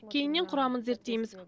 кейіннен құрамын зерттейміз